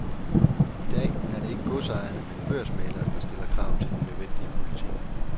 I dag er det ikke godsejerne men børsmæglerne, der stiller krav til den nødvendige politik.